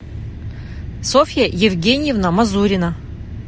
софья евгеньевна мазурина